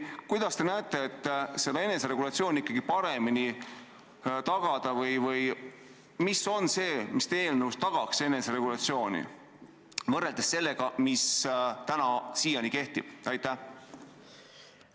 Kuidas teie nägemuses saaks eneseregulatsiooni paremini tagada või mis on see, mis teie eelnõu järgi – erinevalt täna kehtivast – aitaks eneseregulatsiooni tagada?